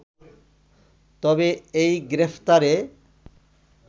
তবে এই গ্রেপ্তারে